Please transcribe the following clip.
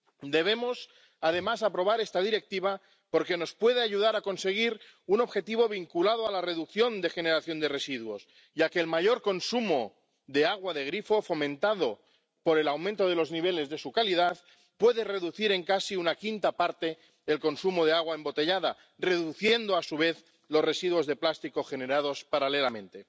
Debemos, además, aprobar esta Directiva porque nos puede ayudar a conseguir un objetivo vinculado a la reducción de generación de residuos, ya que el mayor consumo de agua de grifo, fomentado por el aumento de los niveles de su calidad, puede reducir en casi una quinta parte el consumo de agua embotellada, reduciendo a su vez los residuos de plástico generados paralelamente.